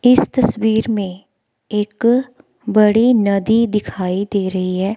इस तस्वीर में एक बड़ी नदी दिखाई दे रही है।